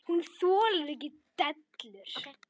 Hún þolir ekki dellur.